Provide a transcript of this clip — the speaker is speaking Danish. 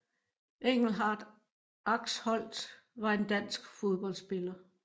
Engelhardt Axholt var en dansk fodboldspiller